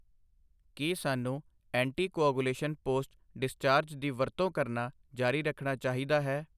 ਕੀ ਸਾਨੂੰ anticoagulation post discharge ਦੀ ਵਰਤੋਂ ਕਰਨਾ ਜਾਰੀ ਰੱਖਣਾ ਚਾਹੀਦਾ ਹੈ?